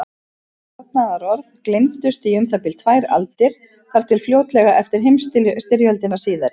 Þessi varnaðarorð gleymdust í um það bil tvær aldir, þar til fljótlega eftir heimsstyrjöldina síðari.